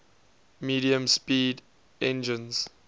medium speed engines